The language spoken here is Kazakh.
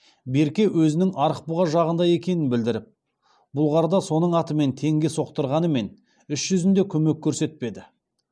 берке өзінің арықбұға жағында екенін білбіріп бұлғарда соның атымен теңге соқтырғанымен іс жүзінде көмек көрсетпеді